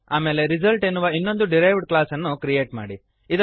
ಆಮೇಲೆ ರಿಸಲ್ಟ್ ಎನ್ನುವ ಇನ್ನೊಂದು ಡಿರೈವ್ಡ್ ಕ್ಲಾಸ್ ಅನ್ನು ಕ್ರಿಯೇಟ್ ಮಾಡಿರಿ